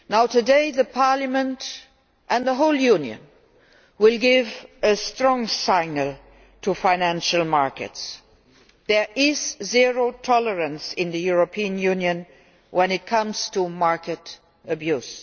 Today, Parliament and the whole Union will give a strong signal to financial markets there is zero tolerance in the European Union when it comes to market abuse.